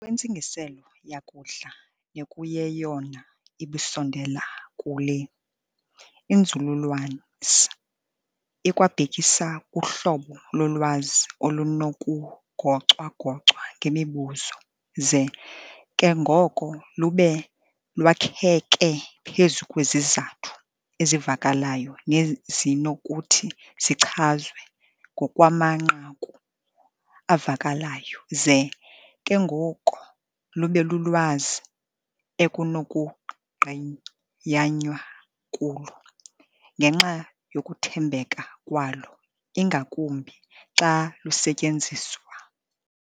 ntsingiselo yakudla nekuyeyona ibusondela kule, inzululwazi ikwabhekisa kuhlobo lolwazi olunokugocwa-gocwa ngemibuzo ze ke ngoko lube lwakheke phezu kwezizathu ezivakalayo nezinokuthi zichazwe ngokwamanqaku avakalayo ze ke ngoko lube lulwazi ekunokungqiyanywa kulo ngenxa yokuthembeka kwalo ingakumbi xa lusetyenziswa.